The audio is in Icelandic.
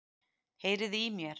Heyriði í mér?